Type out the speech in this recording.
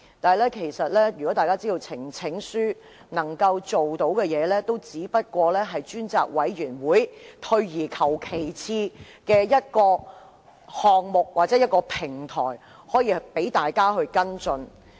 但大家知道，呈請書能夠做到的，只是成立專責委員會，是退而求其次的一個項目或平台，讓大家跟進事件。